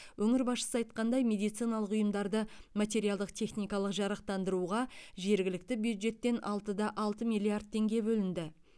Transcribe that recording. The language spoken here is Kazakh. өңір басшысы айтқандай медициналық ұйымдарды материалдық техникалық жарақтандыруға жергілікті бюджеттен алты да алты миллиард теңге бөлінді